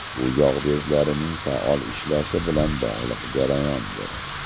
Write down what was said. Bu yog‘ bezlarining faol ishlashi bilan bog‘liq jarayondir.